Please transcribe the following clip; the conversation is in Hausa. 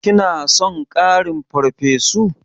Kina son ƙarin farfesu?